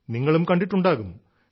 നിങ്ങളും കണ്ടിട്ടുണ്ടാകും